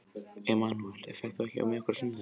Emanúel, ferð þú með okkur á sunnudaginn?